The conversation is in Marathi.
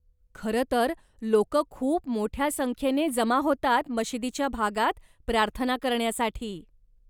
खरंतर, लोकं खूप मोठ्या संख्येने जमा होतात मशिदीच्या भागात, प्रार्थना करण्यासाठी.